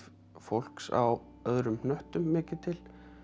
fólks á öðrum hnöttum mikið til